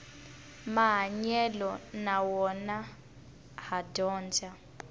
mahanyelo na wona ha dyondza